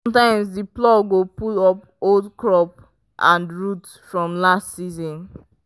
sometimes the plow go pull up old crop and root from last season.